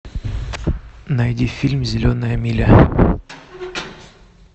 найди фильм зеленая миля